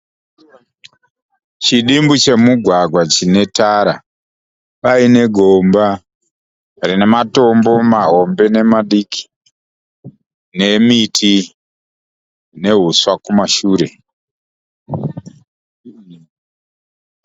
Chidumbu che mugwagwa chine tara. Paine gomba rine matombo mahombe nemadiki. Nemiti nehuswa kumashure.